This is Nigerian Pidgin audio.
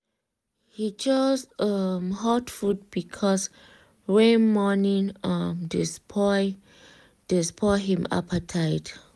he choose um hot food because rain morning um dey spoil dey spoil him appetite.